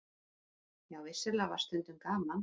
Jú, vissulega var stundum gaman.